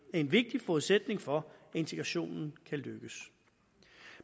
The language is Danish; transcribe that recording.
en vigtig forudsætning for at integrationen kan lykkes